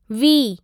V